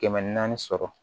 Kɛmɛ naani sɔrɔ